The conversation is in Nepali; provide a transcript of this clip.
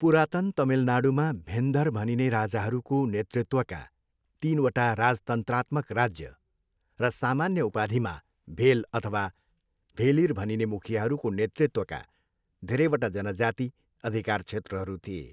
पुरातन तमिलनाडूमा भेन्धर भनिने राजाहरूको नेतृत्वका तिनवटा राजतन्त्रात्मक राज्य र सामान्य उपाधिमा भेल अथवा भेलिर भनिने मुखियाहरूको नेतृत्वका धेरैवटा जनजाति अधिकार क्षेत्रहरू थिए।